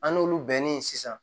An n'olu bɛnnen sisan